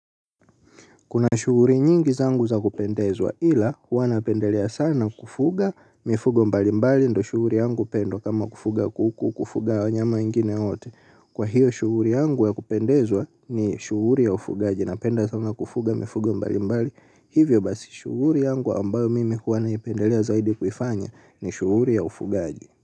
Kuna shughuli nyingi zangu za kupendezwa ila huwa napendelea sana kufuga mifugo mbali mbali ndiyo shughuli yangu pendo kama kufuga kuku kufuga wanyama wengine wote. Kwa hivyo shughuli yangu ya kupendezwa ni shughuli ya ufugaji napenda sana kufuga mifugo mbalimbali hivyo basi shughuli yangu ambayo mimi huwa naipendelea zaidi kuifanya ni shughuli ya ufugaji.